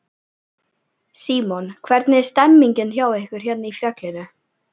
Símon: Hvernig er stemningin hjá ykkur hérna í fjallinu?